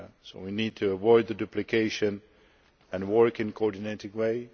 So we need to avoid duplication and work in a coordinated way.